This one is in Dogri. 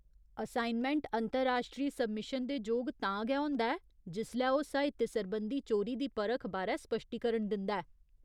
असाइनमैंट अंतर्राश्ट्री सब्मिशन दे जोग तां गै होंदा ऐ, जिसलै ओह् साहित्य सरबंधी चोरी दी परख बारै स्पश्टीकरण दिंदा ऐ।